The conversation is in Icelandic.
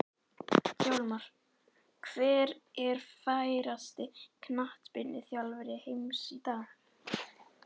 Hjálmar Hver er færasti knattspyrnuþjálfari heims í dag?